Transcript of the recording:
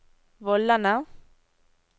vollene